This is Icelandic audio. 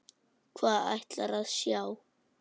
Hvað ætlarðu að sjá?